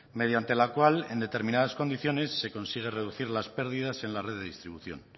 mediante la cual en determinadas condiciones se consigue reducir las pérdidas en la red de distribución